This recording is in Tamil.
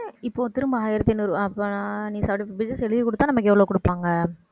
இப்போ திரும்ப ஆயிரத்தி ஐந்நூறுஅப்ப நீ seventy-five pages எழுதி கொடுத்தா நமக்கு எவ்வளவு கொடுப்பாங்க